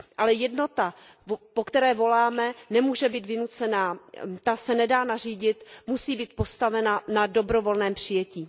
Ale jednota, po které voláme, nemůže být vynucena, ta se nedá nařídit, musí být postavena na dobrovolném přijetí.